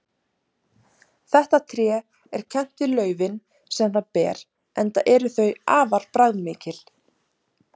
Þetta tré er kennt við laufin sem það ber enda eru þau afar bragðmikil.